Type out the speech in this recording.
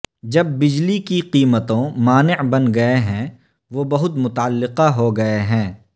جب بجلی کی قیمتوں مانع بن گئے ہیں وہ بہت متعلقہ ہو گئے ہیں